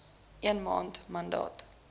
een maand nadat